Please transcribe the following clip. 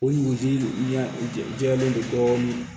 O dugutigi ɲɛ i jɛlen non dɔɔnin